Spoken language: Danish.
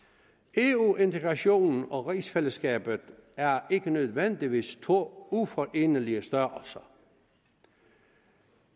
eu integration og rigsfællesskabet er ikke nødvendigvis to uforenelige størrelser